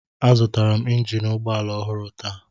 Azụtara m injin ụgbọ ala ọhụrụ taa.